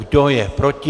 Kdo je proti?